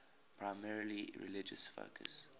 primarily religious focus